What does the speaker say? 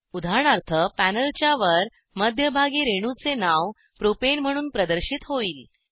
उदाहरणार्थ पॅनेलच्यावर मध्यभागी रेणूचे नाव प्रोपेन म्हणून प्रदर्शित होईल